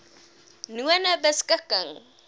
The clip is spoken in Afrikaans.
nonebeskikking